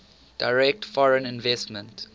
direct foreign investment